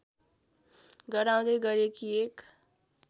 गराउँदै गरेकी एक